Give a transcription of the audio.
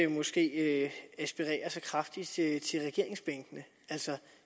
måske ikke aspirerer så kraftigt til regeringsbænkene altså